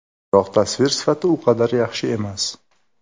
Biroq tasvir sifati u qadar yaxshi emas.